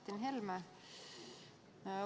Martin Helme!